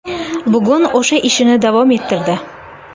Bugun o‘sha ishini davom ettirdi.